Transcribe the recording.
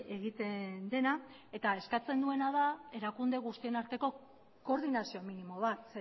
egiten dena eta eskatzen nuena da erakunde guztien arteko koordinazio minimo bat